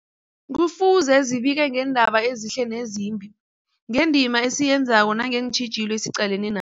Kufuze zibike ngeendaba ezihle nezimbi, ngendima esiyenzako nangeentjhijilo esiqalene na